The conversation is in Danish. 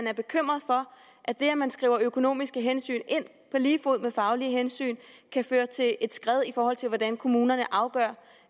er bekymret for at det at man skriver økonomiske hensyn ind på lige fod med faglige hensyn kan føre til et skred i forhold til hvordan kommunerne afgør